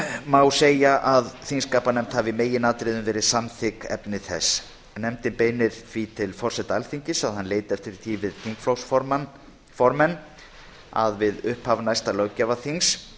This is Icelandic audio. má segja að þingskapanefnd hafi í meginatriðum verið samþykk efni þess nefndin beinir því til forseta alþingis að hann leiti eftir því við þingflokksformenn við upphaf næsta löggjafarþings